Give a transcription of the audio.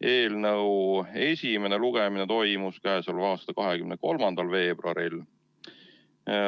eelnõu esimene lugemine toimus 23. veebruaril.